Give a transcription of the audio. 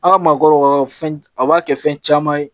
A ka maakɔrɔ fɛn a b'a kɛ fɛn caman ye